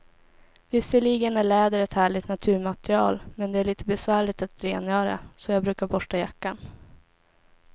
Visserligen är läder ett härligt naturmaterial, men det är lite besvärligt att rengöra, så jag brukar borsta jackan.